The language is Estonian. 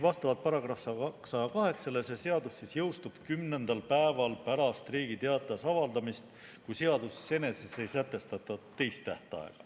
" Vastavalt §‑le 108 jõustub see seadus kümnendal päeval pärast Riigi Teatajas avaldamist, kui seaduses eneses ei sätestata teist tähtaega.